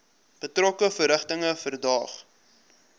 betrokke verrigtinge verdaag